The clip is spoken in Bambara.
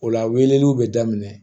O la weleliw bɛ daminɛ